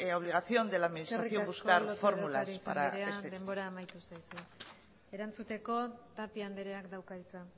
obligación de la administración buscar fórmulas eskerrik asko lópez de ocariz anderea denbora amaitu zaizu erantzuteko tapia andereak dauka hitza